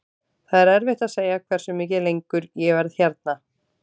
Það er erfitt að segja hversu mikið lengur ég verð hérna.